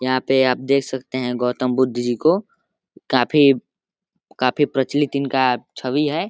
यहाँ पे आप देख सकते हैं गौतम बुद्ध जी को काफी काफी प्रचलित इनका छवि है।